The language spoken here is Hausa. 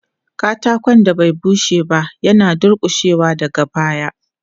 Katakon da bai bushe ba yana dulƙushewa daga baya.